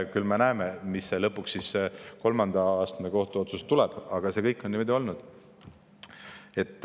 Küll me näeme, missugune tuleb lõpuks kolmanda astme kohtuotsus, aga see kõik on niimoodi olnud.